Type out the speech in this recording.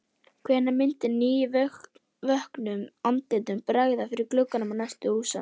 Hvenær myndi nývöknuðum andlitum bregða fyrir í gluggum næstu húsa?